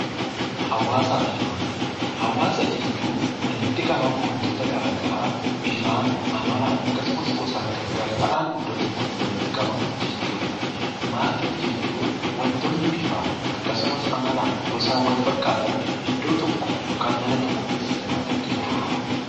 Hawaasaa fi maatii Hawaasa jechuun walitti qabama waantota garaagaraa bifaan, amalaan akkasuma gosaan kan gargar ta'an iddoo tokkotti walitti qabamanii jechuudha. Maatii jechuun waantonni bifaan akkasumas amalaan , gosaan wal fakkaatan iddoo tokko yookaan mana tokko keessa jiraatan jechuudha.